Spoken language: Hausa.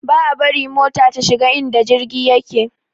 Ba a bari mota ta shiga inda jirgi yake